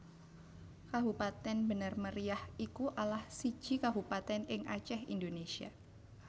Kabupatèn Bener Meriah iku alah siji kabupatèn ing Acèh Indonésia